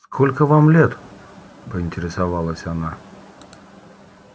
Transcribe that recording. сколько вам лет поинтересовалась она